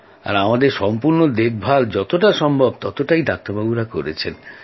আর আমাদের সম্পূর্ণ দেখভাল যতটা সম্ভব ততটা ডাক্তাররা করেছেন